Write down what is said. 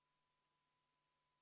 Lõpuks toimub lõpphääletus, mis on avalik.